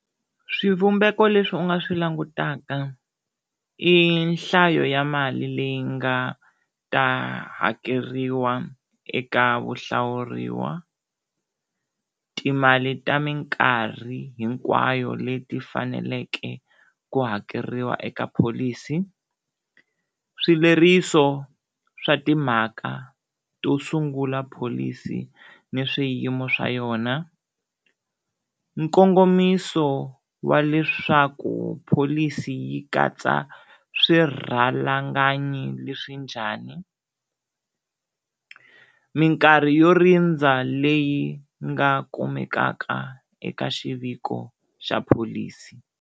Swivumbeko leswi u nga swi langutaka i nhlayo ya mali leyi nga ta hakeriwa eka vuhlawuriwa, timali ta minkarhi hinkwayo leti faneleke ku hakeriwa eka pholisi, swileriso swa timhaka to sungula pholisi ni swiyimo swa yona, nkongomiso wa leswaku pholisi yi katsa swirhalanganyi leswi njhani, minkarhi yo rindza leyi nga kumekaka eka xiviko xa pholisi.